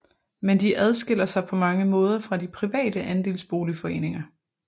Men de adskiller sig på mange måder fra de private andelsboligforeninger